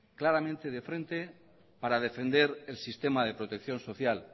claramente de frente para defender el sistema de protección social